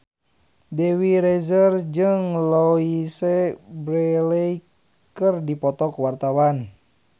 Dewi Rezer jeung Louise Brealey keur dipoto ku wartawan